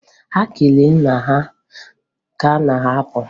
Ha kelere nna ha ka ha na-apụ.